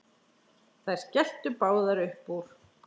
Þær skelltu báðar upp úr.